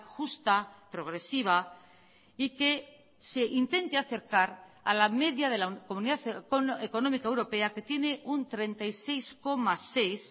justa progresiva y que se intente acercar a la media de la comunidad económica europea que tiene un treinta y seis coma seis